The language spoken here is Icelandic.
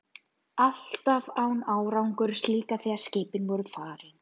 París, hvað er klukkan?